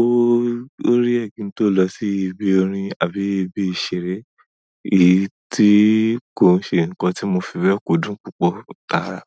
ó, ó rí ẹ̀ kín tó lọ sí ibi orin àbí ibi ìṣeré, èyí tí kò ṣe ǹkan tí mo fẹ́rẹ̀ kúdùn púpọ̀ tàrà.